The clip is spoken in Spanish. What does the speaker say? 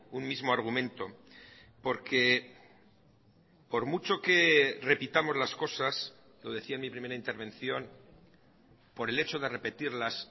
un mismo argumento porque por mucho que repitamos las cosas lo decía en mi primera intervención por el hecho de repetirlas